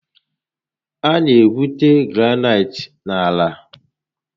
A na egwute granaịtị n'ala